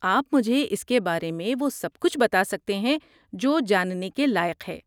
آپ مجھے اس کے بارے وہ سب کچھ بتا سکتے ہیں جو جاننے کے لائق ہے۔